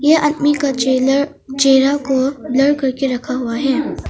यह आदमी का चेला चेरा को ब्लर करके रखा हुआ है।